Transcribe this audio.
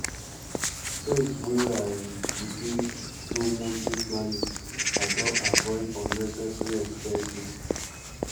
since wey i um begin do monthly planning i don avoid unnecessary expenses